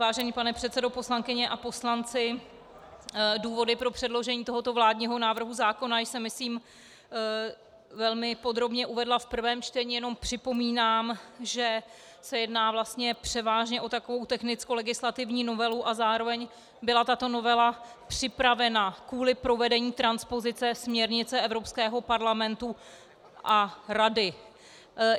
Vážený pane předsedo, poslankyně a poslanci, důvody pro předložení tohoto vládního návrhu zákona jsem myslím velmi podrobně uvedla v prvním čtení, jenom připomínám, že se jedná vlastně převážně o takovou technickolegislativní novelu a zároveň byla tato novela připravena kvůli provedení transpozice směrnice Evropského parlamentu a Rady.